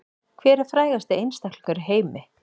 Hver er frægasti einstaklingur í heimi